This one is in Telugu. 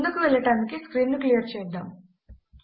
ముందుకి వెళ్ళటానికి స్క్రీన్ ను క్లియర్ చేద్దాము